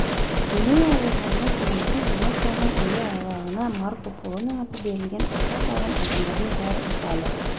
генуя әуежайына колумбтың венецияның әуе айлағына марко полоның аты берілген аты аталған адамдардың бәрі италия